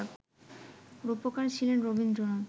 রূপকার ছিলেন রবীন্দ্রনাথ